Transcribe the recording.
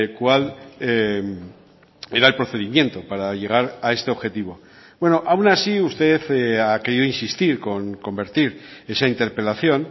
cuál era el procedimiento para llegar a este objetivo bueno aun así usted ha querido insistir con convertir esa interpelación